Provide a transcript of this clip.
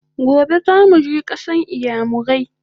Gobe zamuje kasan iyamurai!